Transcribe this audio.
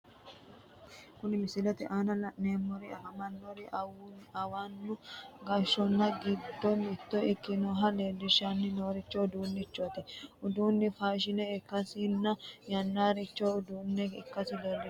Kunni misilete aanna la'neemohu afantino anuwanna gashaano gido mitto ikkanna leelishanni noorino udirino uduunni faashine ikasinna yanaasincho udano ikase leelishano.